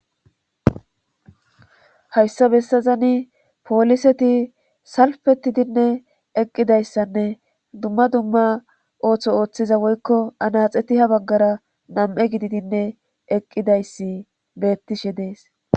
Hayssa bessazani pooliseti salfetidinne eqqidayssanne dumma dumma ooththo ooththiza woykko anaxeti ha baggara nam7e gididinne eqqidayssi beettishe dees